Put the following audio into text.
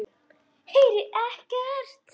Heyri ekkert.